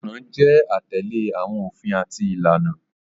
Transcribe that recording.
Igbọran jẹ atẹle awọn ofin ati ilana.